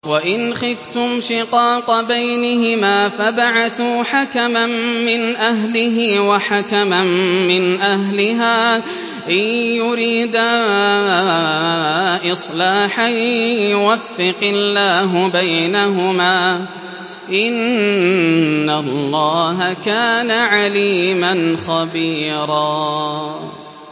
وَإِنْ خِفْتُمْ شِقَاقَ بَيْنِهِمَا فَابْعَثُوا حَكَمًا مِّنْ أَهْلِهِ وَحَكَمًا مِّنْ أَهْلِهَا إِن يُرِيدَا إِصْلَاحًا يُوَفِّقِ اللَّهُ بَيْنَهُمَا ۗ إِنَّ اللَّهَ كَانَ عَلِيمًا خَبِيرًا